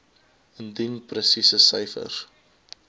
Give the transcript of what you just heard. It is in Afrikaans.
indien presiese syfers